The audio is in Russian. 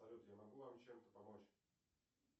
салют я могу вам чем то помочь